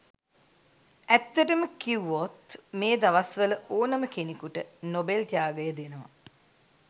ඇත්තටම කිවුවොත් මේ දවස් වල ඕනම කෙනෙකුට නොබෙල් ත්‍යාගය දෙනවා.